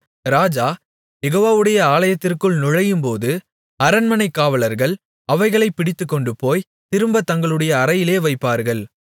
ராஜா யெகோவாவுடைய ஆலயத்திற்குள் நுழையும்போது அரண்மனைக் காவலர்கள் அவைகளைப் பிடித்துக்கொண்டுபோய் திரும்பத் தங்களுடைய அறையிலே வைப்பார்கள்